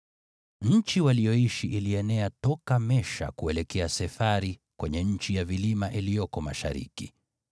Nchi waliyoishi ilienea toka Mesha kuelekea Sefari kwenye nchi ya vilima iliyoko mashariki.